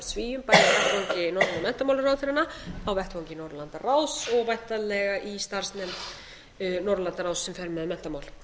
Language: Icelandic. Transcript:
svíum bæði á vettvangi norrænu menntamálaráðherranna á vettvangi norðurlandaráði og væntanlega í starfsnefnd norðurlandaráði sem fer með menntamál